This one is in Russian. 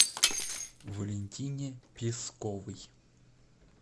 валентине песковой